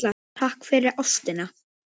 Takk fyrir ástina.